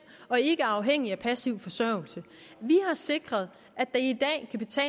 og ikke er afhængige af passiv forsørgelse vi har sikret